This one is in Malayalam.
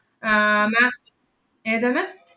ആഹ് ma'am ഏതാണ്?